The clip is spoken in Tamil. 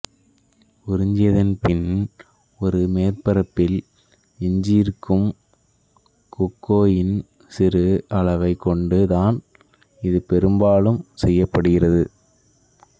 உறிஞ்சியதின் பின் ஒரு மேற்பரப்பில் எஞ்சியிருக்கும் கோகோயின் சிறு அளவைக் கொண்டு தான் இது பெரும்பாலும் செய்யப்படுகிறது